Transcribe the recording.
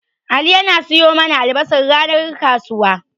Ali yana siyo mana albasar ranar kasuwa.